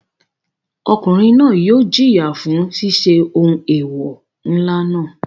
Ọkùnrin náà yóò jìyà fún ṣiṣẹ́ ohun eewọ ńlá náà.